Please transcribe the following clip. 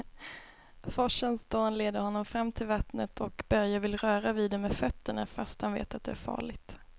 Forsens dån leder honom fram till vattnet och Börje vill röra vid det med fötterna, fast han vet att det är farligt.